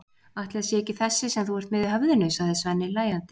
Ætli það sé ekki þessi sem þú ert með í höfðinu, sagði Svenni hlæjandi.